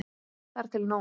Þar til nú.